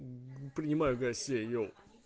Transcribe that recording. принимаю гостей еу